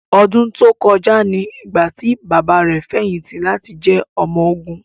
Ọdún tó kọjá ni ìgbà tí bàbá rẹ̀ fẹ̀yìntì láti jẹ́ ọmọ ogun.